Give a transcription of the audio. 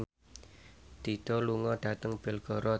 Dido lunga dhateng Belgorod